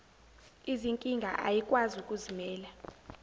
izinkinga ayikwazi ukuzimela